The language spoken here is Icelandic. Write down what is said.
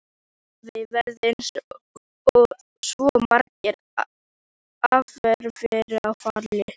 Afi varð eins og svo margir aðrir fyrir áfalli.